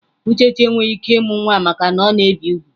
Uchechi enweghị ike ịmụ nwa maka na ọ na-ebi úgwù.